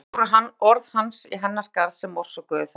Og það voru orð hans í hennar garð sem orsökuðu það.